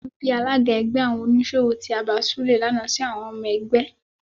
Inú bí alága ẹgbẹ́ àwọn oníṣòwò tí abàa Súlè lànà si àwọn ọmọ ẹgbẹ́.